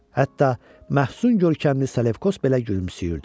Hətta məhzun görkəmli Selevkos belə gülümsüyürdü.